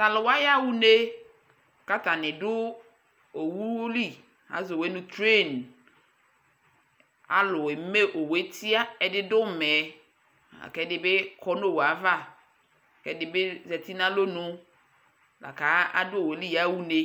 Tʋ alʋ wa yaɣa une kʋ atanɩ dʋ owu li Azɔ owu yɛ nʋ tren Alʋ eme owu yɛ tɩa Ɛdɩ dʋ ʋmɛ la kʋ ɛdɩ bɩ kɔ nʋ owu yɛ ava Ɛdɩ bɩ zati nʋ alɔnu la kʋ adʋ owu yɛ li yaɣa une